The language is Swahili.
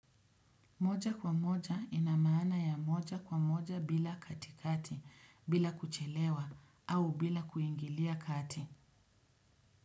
Moja kwa moja inamaana ya moja kwa moja bila katikati, bila kuchelewa, au bila kuingilia kati.